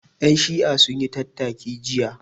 Ƴan Shi'a sun yi tattaki jiya